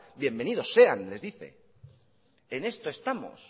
bienvenidos sean les dice en esto estamos